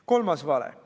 Kolmas vale.